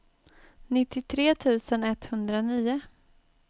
nittiotre tusen etthundranio